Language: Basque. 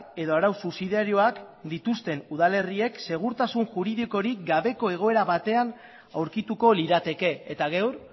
edo arau subsidiarioak dituzten udalerriek segurtasun juridikorik gabeko egoera batean aurkituko lirateke eta gaur